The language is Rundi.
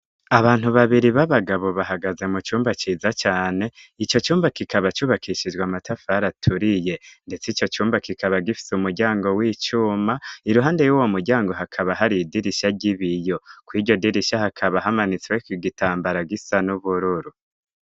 abantu babiri b'abagabo bahagaze mu cumba ciza cane ico cumba kikaba cubakishijwe matafari aturiye ndetse ico cumba kikaba gifise umuryango w'icuma iruhande y'uwo muryango hakaba hari idirisha ry'ibiyo ku riryo dirisha hakaba hamanitsweko igitambara gisa n'ubururu.